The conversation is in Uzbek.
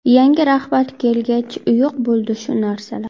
Yangi rahbar kelgach, yo‘q bo‘ldi shu narsalar.